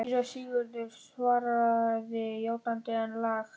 Síra Sigurður svaraði játandi, en lágt.